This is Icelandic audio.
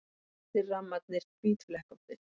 Svartir rammarnir hvítflekkóttir.